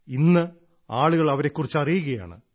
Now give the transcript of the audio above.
ഇന്ന് ആളുകൾ അവരെക്കുറിച്ചും അറിയുകയാണ്